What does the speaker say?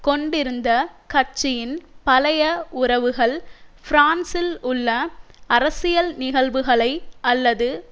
கொண்டிருந்த கட்சியின் பழைய உறவுகள் பிரான்சில் உள்ள அரசியல் நிகழ்வுகளை அல்லது